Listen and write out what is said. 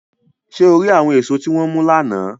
Ṣe o ri awọn eso ti wọn mu lana?